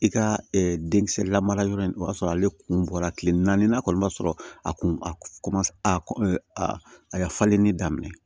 I ka denkisɛ lamara yɔrɔ in o y'a sɔrɔ ale kun bɔra kile naani kɔni ma sɔrɔ a kun a a ye falenni daminɛ